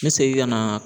N bɛ segin ka na